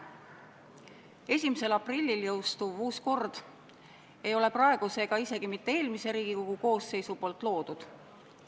1. aprillil jõustuv uus kord ei ole praeguse ega isegi mitte eelmise Riigikogu koosseisu loodud.